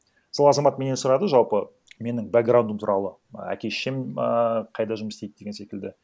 сол азамат менен сұрады жалпы менің бэкграундым туралы і әке шешем ііі қайда жұмыс істейді деген секілді